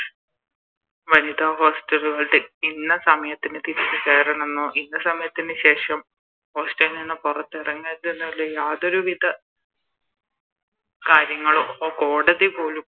വനിതാ Hostel കളിൽ ഇന്ന സമയത്തിന് തിരിച്ച് കയറാണെന്നോ ഇന്ന സമയത്തിന് ശേഷം Hostel ൽ നിന്നും പുറത്തിറങ്ങരുതെന്നോ ഉള്ളെ യാതൊരു വിധ കാര്യങ്ങളോ അപ്പൊ കോടതി പോലും